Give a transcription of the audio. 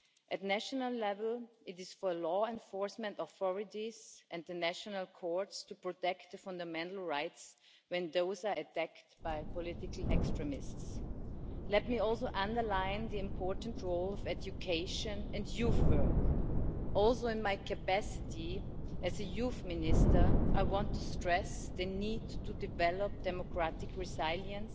At national level, it is for law enforcement authorities and the national courts to protect fundamental rights when these are attacked by political extremists. Let me also underline the important role of education and youth work. In my capacity as a Youth Minister, I want to stress the need to develop democratic resilience,